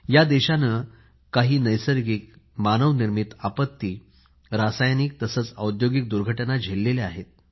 या देशाने काही नैसर्गिक मानवनिर्मित आपत्ती आणि रासायनिक तसेच औद्योगिक दुर्घटना झेलल्या आहेत